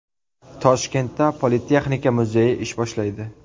Toshkentda Politexnika muzeyi ish boshlaydi.